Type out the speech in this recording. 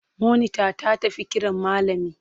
Monita ta tafi kiran malami.